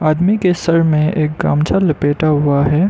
आदमी के सर में एक गमछा लपेटा हुआ है।